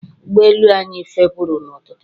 ụgbọ elu anyị fepuru n'ụtụtụ